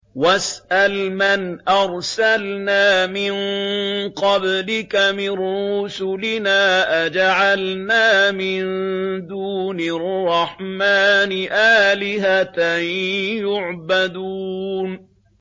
وَاسْأَلْ مَنْ أَرْسَلْنَا مِن قَبْلِكَ مِن رُّسُلِنَا أَجَعَلْنَا مِن دُونِ الرَّحْمَٰنِ آلِهَةً يُعْبَدُونَ